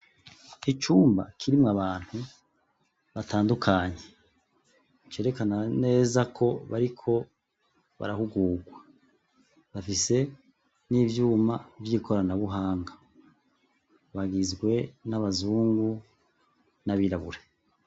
Icumba kirimwo abantu batandukanye cerekana neza ko bariko barahugugwa bafise n' ivyuma vy' ikoranabuhangwa bagizwe n' abazungu n' abirabure.